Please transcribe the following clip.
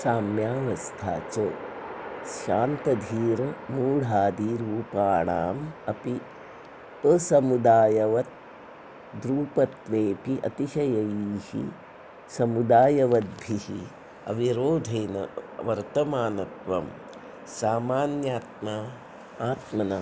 साम्यावस्था च शान्तघोरमूढादिरूपाणामपि असमुदायवद्रूपत्वेपि अतिशयैः समुदायवद्भिरविरोधेन वर्तमानत्वं सामान्यात्मना